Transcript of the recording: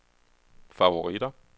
favoritter